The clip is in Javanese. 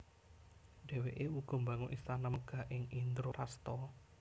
Dhéwékè uga mbangun istana megah ing Indraprastha